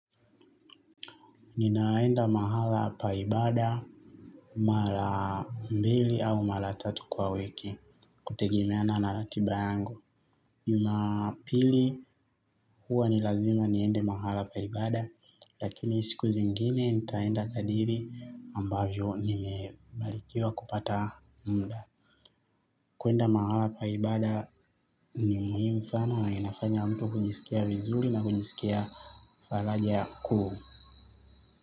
Ninaenda mahala pa ibada, mara mbili au mara tatu kwa wiki, kutegemeana na ratiba yangu. Jumapili huwa ni lazima niende mahala pa ibada, lakini siku zingine nitaenda kadiri ambavyo nimebalikiwa kupata muda. Kuenda mahala pa ibada ni muhimu sana na inafanya mtu kujisikia vizuri na kujisikia falaja kuu.